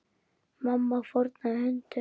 Mamma fórnaði höndum.